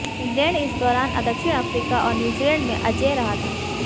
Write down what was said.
England इस दौरान दक्षिण अफ्रीका और न्यूजीलैंड में अजेय रहा था